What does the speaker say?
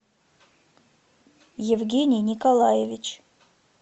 евгений николаевич